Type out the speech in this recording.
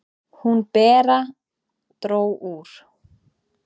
"""Hún, Bera, dró úr."""